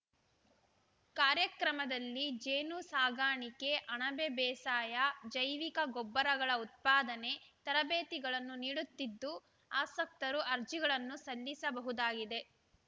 ಕಾರ್ಯಕ್ರಮದಲ್ಲಿ ಜೇನು ಸಾಕಾಣಿಕೆ ಅಣಬೆ ಬೇಸಾಯ ಜೈವಿಕ ಗೊಬ್ಬರಗಳ ಉತ್ಪಾದನೆ ತರಬೇತಿಗಳನ್ನು ನೀಡುತ್ತಿದ್ದು ಅಸಕ್ತರು ಅರ್ಜಿಗಳನ್ನು ಸಲ್ಲಿಸಬಹುದಾಗಿದೆ